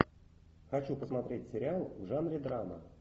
хочу посмотреть сериал в жанре драма